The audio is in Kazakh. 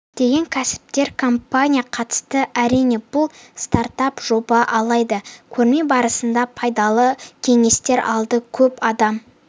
көптеген кәсіпкер компания қатысты әрине бұл стартап жоба алайда көрме барысында пайдалы кеңестер алдық көп адам